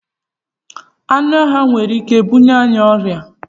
Anụ ọhịa nwere Ike ịbuye anyị ọrịa